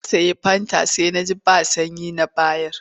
Na sayi fanta sai na ji ba sanyi na bayar.